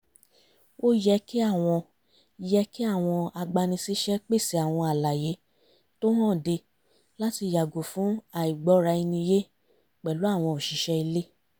ó yẹ kí àwọn yẹ kí àwọn agbani-síṣẹ́ pèsè àwọn àlàyé tó hànde láti yàgò fún àìgbọ́ra-ẹni-yé pẹ̀lú àwọn òṣìṣẹ́ ilé